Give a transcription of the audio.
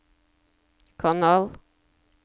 kanal